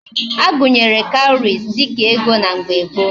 Agunyere cowries dika ego na mgbe gboo